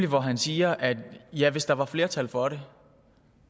hvor han siger ja hvis der var flertal for det